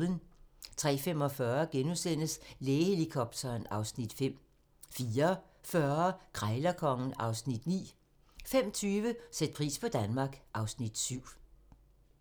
03:45: Lægehelikopteren (Afs. 5)* 04:40: Krejlerkongen (Afs. 9) 05:20: Sæt pris på Danmark (Afs. 7)